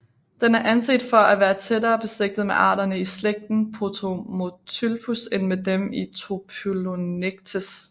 Den er anset for at være tættere beslægtet med arterne i slægten Potomotyphlus end med dem i Typholonectes